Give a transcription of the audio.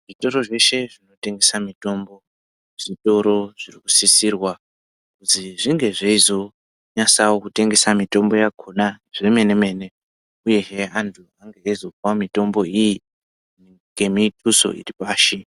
Zvitoro zveshe zvinotengesa mutombo zvitoro zviri kusisirwa kuti zvinge zveizonyasa kutengesa mitombo yakhona zvemene mene uyezve antu achizomwa mitombo iyi ngemi duso iripashi.